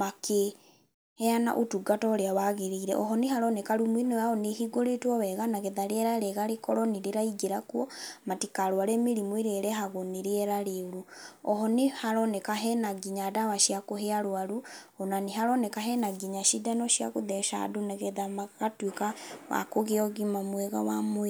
makĩheana ũtungata ũrĩa wagĩrĩire. Oho nĩ haroneka rumu ĩno yao nĩ ĩhingũrĩtwo wega nagetha rĩera rĩega rĩkorwo nĩ rĩraingĩra kuo, matikarũare mĩrimũ ĩrĩa ĩrehagwo nĩ rĩera rĩũru. Oho nĩ haroneka hena nginya ndawa cia kũhe arũaru, ona nĩ haroneka hena nginya cindano cia gũtheca andũ nagetha magatuĩka a kũgĩa ũgima mwega wa mwĩrĩ.